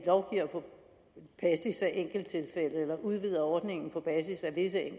enkelttilfælde eller udvider ordningen på basis af visse